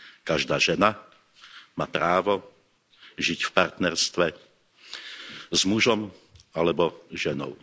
Každá žena má právo žiť v partnerstve s mužom alebo ženou.